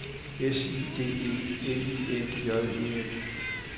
S I D E L I N J E N